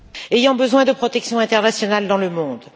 ayant besoin de protection internationale dans le monde.